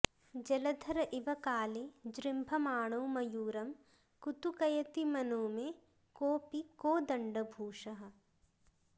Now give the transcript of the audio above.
जलधर इव काले जृम्भमाणो मयूरं कुतुकयति मनो मे कोऽपि कोदण्डभूषः